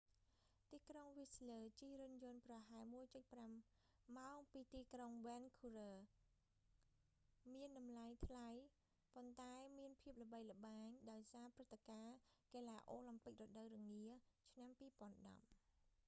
ទីក្រុងវីសស្លើ whistler ជិះរថយន្តប្រហែល 1.5 ម៉ោង ពីទីក្រុងវេនឃូវើ vancouver មានតម្លៃថ្លៃ ប៉ុន្តែមានភាពល្បីល្បាញដោយសារព្រឹត្តិការណ៍កីឡាអូឡាំពិករដូវរងាឆ្នាំ2010